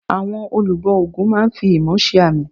Àwọn olùbọ ògún máa n fi imọ̀ se àmì